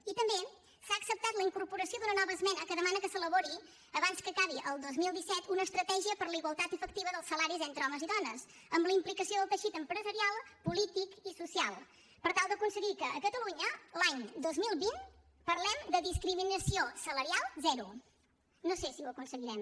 i també s’ha acceptat la incorporació d’una nova esmena que demana que s’elabori abans que acabi el dos mil disset una estratègia per a la igualtat efectiva dels salaris entre homes i dones amb la implicació del teixit empresarial polític i social per tal d’aconseguir que a catalunya l’any dos mil vint parlem de discriminació salarial zero no sé si ho aconseguirem